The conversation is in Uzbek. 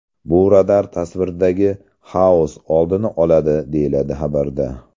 Bu radar tasviridagi ‘xaos’ oldini oladi”, deyiladi xabarda.